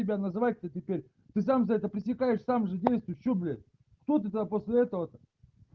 тебя называется теперь ты сам за это пересекаешь сам же действуешь что блять кто ты сам после этого то